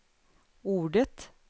ordet